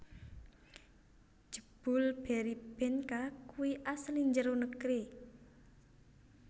Jebul Berrybenka kui asli njero negeri